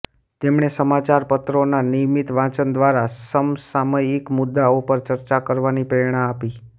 તેમણે સમાચારપત્રોના નિયમિત વાંચન દ્વારા સમસામયિક મુદ્દાઓ પર ચર્ચા કરવાની પ્રેરણા આપી